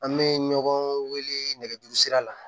An bɛ ɲɔgɔn wele nɛgɛjuru sira la